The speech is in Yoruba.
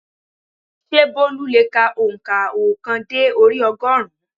Sé Bólú le è ka ònkà óòkan dé orí ogórùn ún?